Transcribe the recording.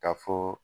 Ka fɔ